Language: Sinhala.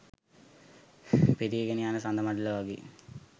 පිරීගෙන යන සඳ මඬල වගේ